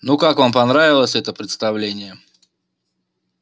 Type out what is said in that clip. ну как вам понравилось это представление